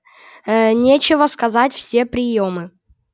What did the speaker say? ээ нечего сказать все приёмы